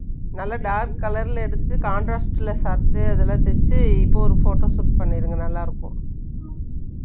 ம். நல்லா dark colour ல எடுத்து, contrast ல சாப்பிட்டு, அதெல்லாம் தேச்சு, இப்போ ஒரு photo shoot பண்ணிருங்க. நல்லா இருக்கும்